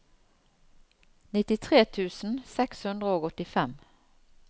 nittitre tusen seks hundre og åttifem